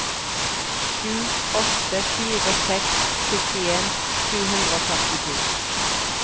sju åtte fire seks syttien sju hundre og førtito